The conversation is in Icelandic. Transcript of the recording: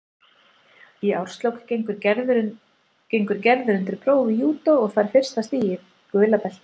Í árslok gengur Gerður undir próf í júdó og fær fyrsta stigið, gula beltið.